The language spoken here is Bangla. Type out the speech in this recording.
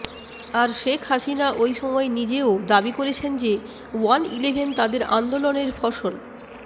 আর শেখ হাসিনা ওই সময় নিজেও দাবি করেছেন যে ওয়ান ইলেভেন তাদের আন্দোলনের ফসল